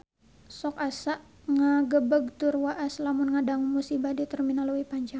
Sok asa ngagebeg tur waas lamun ngadangu musibah di Terminal Leuwi Panjang